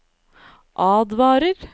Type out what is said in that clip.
advarer